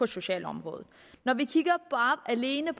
sociale område når vi alene